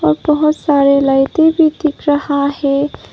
बहुत सारे लाइटें भी दिख रहा है।